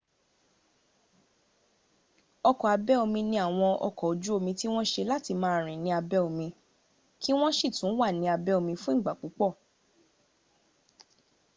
ọkọ̀ abẹ́ omi ni àwọn ọkọ̀ ojú omí tí wọn ṣe láti máa rìn ní abẹ́ omi kí wọ́n sì tún wà ní abẹ́ omí fún ìgbà púpọ̀